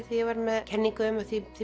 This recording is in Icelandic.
því ég var með kenningu um að því